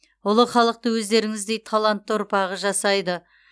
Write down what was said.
ұлы халықты өздеріңіздей талантты ұрпағы жасайды